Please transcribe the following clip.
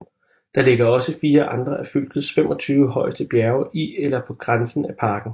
Der ligger også fire andre af fylkets 25 højeste bjerge i eller på grænsen af parken